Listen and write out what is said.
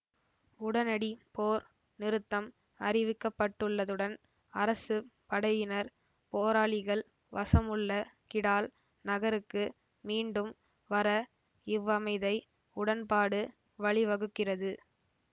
உடனடி போர் நிறுத்தம் அறிவிக்கப்பட்டுள்ளதுடன் அரசு படையினர் போராளிகள் வசமுள்ள கிடால் நகருக்கு மீண்டும் வர இவ்வமைதை உடன்பாடு வழிவகுக்கிறது